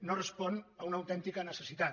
no respon a una autèntica necessitat